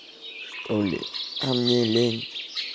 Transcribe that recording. что ли а мне лень